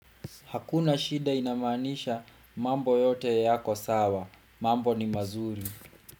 Hakuna shida ina maanisha mambo yote yako sawa, mambo ni mazuri.